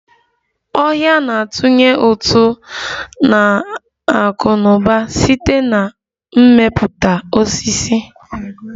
Ọhia na-atunye ụtụ n'akụnauba site na mmepụta osisi